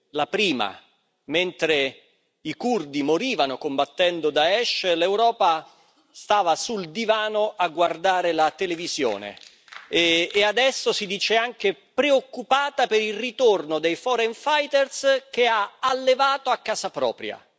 La prima, mentre i curdi morivano combattendo Daesh, l'Europa stava sul divano a guardare la televisione, e adesso si dice anche preoccupata per il ritorno dei foreign fighters che ha allevato a casa propria.